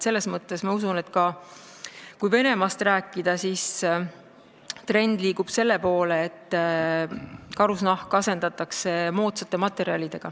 Nii et ma usun, et kui Venemaast rääkida, siis trend liigub selle poole, et karusnahk asendatakse moodsate materjalidega.